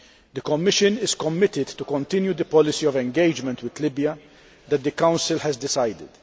The Commission is committed to continuing the policy of engagement with Libya that the Council has decided.